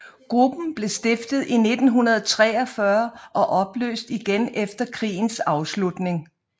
Gruppen blev stiftet i 1943 og opløst igen efter krigens afslutning